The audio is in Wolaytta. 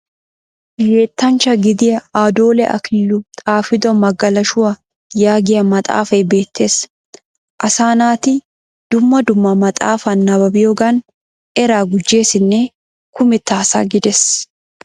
Yettanchcha gidiya addoole akililu xaafido magalashuwa yaagiyiya maxaafay beettes. Asaa naati dumma dumma maxxafaa nabbabiyoogan eraa gujjesinne kumetta asa gides.